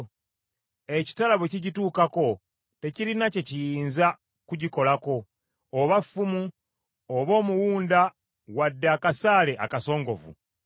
Ekitala bwe kigituukako tekirina kye kiyinza kumukolako, oba ffumu, oba omuwunda wadde akasaale akasongovu.